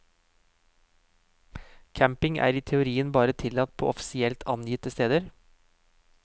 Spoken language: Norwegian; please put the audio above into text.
Camping er i teorien bare tillatt på offisielt angitte steder.